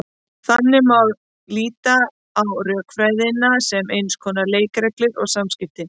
Þannig má líta á rökfræðina sem eins konar leikreglur um samskipti.